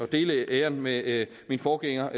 dele æren med min forgænger